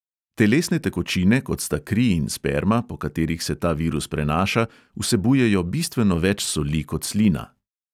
Telesne tekočine, kot sta kri in sperma, po katerih se ta virus prenaša, vsebujejo bistveno več soli kot slina.